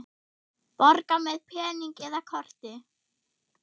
Borga með pening eða korti?